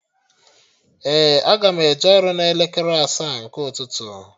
Ee, aga m eje ọrụ n'elekere asaa nke ụtụtụ